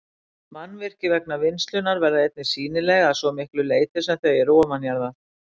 Mannvirki vegna vinnslunnar verða einnig sýnileg að svo miklu leyti sem þau eru ofanjarðar.